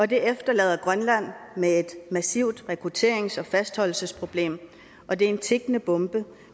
det efterlader grønland med et massivt rekrutterings og fastholdelsesproblem og det er en tikkende bombe